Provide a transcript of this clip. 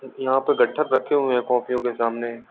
यहां पर गट्ठक रखे हुए हैं कापियों के सामने।